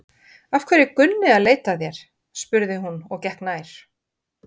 Af hverju er Gunni að leita að þér? spurði hún og gekk nær.